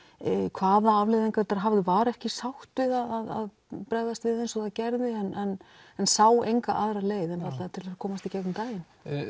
hvaða afleiðingar var ekki sátt við að bregðast við eins og það gerði en en sá enga aðra leið til þess að komast í gegnum daginn